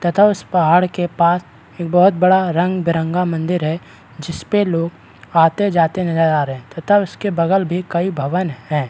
तथा उस पहाड़ के पास एक बहुत बड़ा रंग बीरंगा मंदिर है जिस पे लोग आते-जाते नजर आ रहे हैं तथा उसके बगल भी कई भवन हैं |